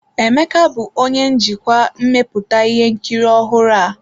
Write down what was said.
Emeka bụ onye njikwa mmepụta ihe nkiri ọhụrụ a.